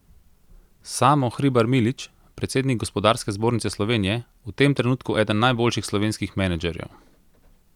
Samo Hribar Milič, predsednik Gospodarske zbornice Slovenije: 'V tem trenutku eden najboljših slovenskih menedžerjev.